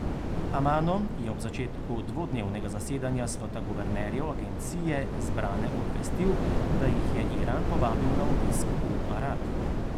Amano je ob začetku dvodnevnega zasedanja sveta guvernerjev agencije zbrane obvestil, da jih je Iran povabil na obisk v Arak.